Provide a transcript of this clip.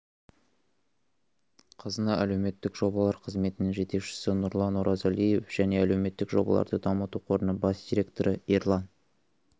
қазына әлеуметтік жобалар қызметінің жетекшісі нұрлан оразалиев және әлеуметтік жобаларды дамыту қорының бас директоры ерлан